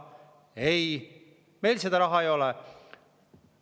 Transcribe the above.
Ei, meil seda raha ei ole!